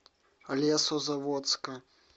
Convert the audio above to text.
лесозаводска